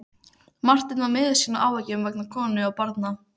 Marteinn var miður sín af áhyggjum vegna konu og barna.